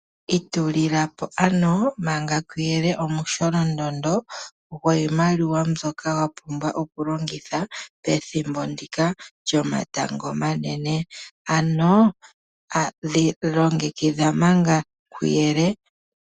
Itulilapo ano manga kuyele omu sholondondo gwiimaliwa mbyoka wa pumbwa okulongitha pethimbo ndika yomatango omanene. Ano longekidha manga kuyele.